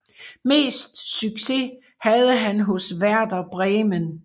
Mest succes havde han hos Werder Bremen